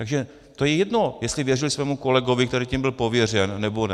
Takže to je jedno, jestli věřil svému kolegovi, který tím byl pověřen, nebo ne.